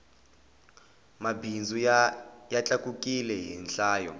mabindzu ya tlakukile hi nhlayo